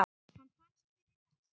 Hann fannst fyrir rest!